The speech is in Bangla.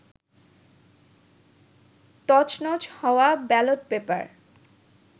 তছনছ হওয়া ব্যালট পেপার